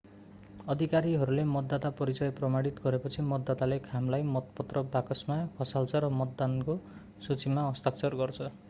अधिकारीहरूले मतदाता परिचय प्रमाणित गरेपछि मतदाताले खामलाई मतपत्र बाकसमा खसाल्छ र मतदानको सूचीमा हस्ताक्षर गर्छ